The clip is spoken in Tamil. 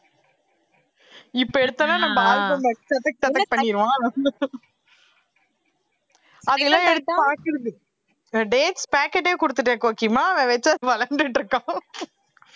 இப்ப எடுத்தேன்னா நம்ம பண்ணிடுவான் அதெல்லாம் எடுத்து பாக்குறது dates pocket ஏ கொடுத்துட்டேன் கோகிமா அவன் வச்சு விளையாண்ட்டுட்டு இருக்கான்